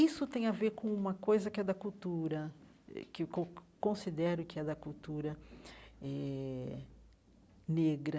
Isso tem a ver com uma coisa que é da cultura, eh que eu con considero que é da cultura eh negra,